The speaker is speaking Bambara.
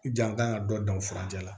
Jan kan ka dɔ dan furancɛ la